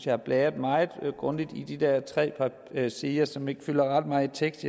har bladret meget grundigt i de der tre sider som ikke har ret meget tekst